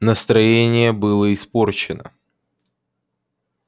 настроение было испорчено